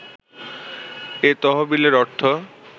এ তহবিলের অর্থ